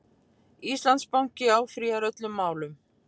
Íslandsbanki áfrýjar öllum málunum